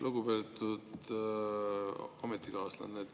Lugupeetud ametikaaslane!